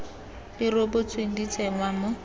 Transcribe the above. di rebotsweng di tsenngwa mo